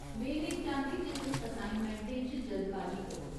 में नेईं चांह्दी जे तुस असाइनमैंटें च जल्दबाजी करो।